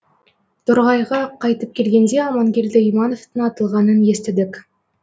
торғайға қайтып келгенде аманкелді имановтың атылғанын естідік